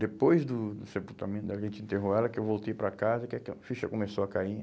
Depois do sepultamento, a gente enterrou ela, que eu voltei para casa, que que a ficha começou a cair.